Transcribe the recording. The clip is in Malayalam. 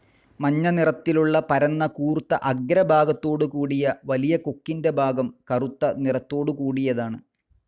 മഞ്ഞ നിറത്തിലുള്ള പരന്ന കൂർത്ത ആഗ്ര ഭാഗത്തോട്കൂടിയ വലിയ കൊക്കിന്റെ ഭാഗം കറുത്ത നിറതൊടുകൂടിയതാണ്.